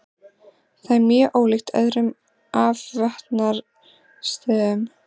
Það er mjög ólíkt öðrum afvötnunarstöðvum.